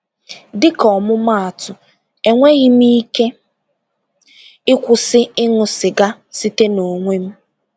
Dịka ọmụmaatụ, enweghị m ike ịkwụsị ịṅụ sịga site n’onwe m.